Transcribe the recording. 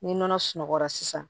Ni nɔnɔ sunɔgɔra sisan